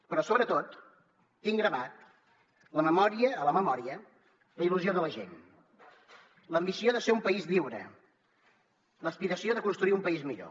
però sobretot tinc gravada a la memòria la il·lusió de la gent l’ambició de ser un país lliure l’aspiració de construir un país millor